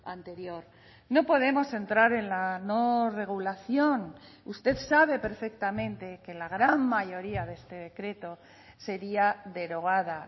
anterior no podemos entrar en la no regulación usted sabe perfectamente que la gran mayoría de este decreto sería derogada